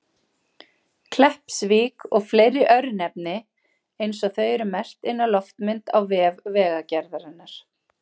Kleppsvík og fleiri örnefni eins og þau eru merkt inn á loftmynd á vef Vegagerðarinnar.